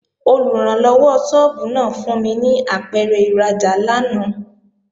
Olùrànlọ́wọ́ sọ́ọ́bù náà fún mi ní apẹ̀rẹ̀ ìrajà lánàá